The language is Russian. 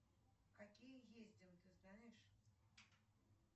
какие ездим ты знаешь